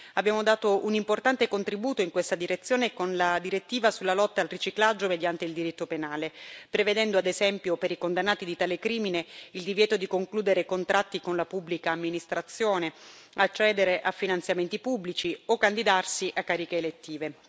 Abbiamo dato un importante contributo in questa direzione con la direttiva sulla lotta al riciclaggio mediante il diritto penale, prevedendo ad esempio per i condannati di tale crimine il divieto di concludere contratti con la pubblica amministrazione, accedere a finanziamenti pubblici o candidarsi a cariche elettive.